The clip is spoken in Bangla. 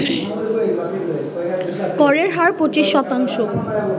করের হার ২৫ শতাংশ